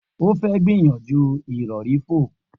O fẹ gbiyanju irọri fo.